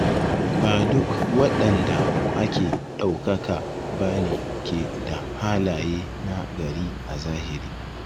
Ba duk waɗanda ake ɗaukaka ba ne ke da halaye na gari a zahiri.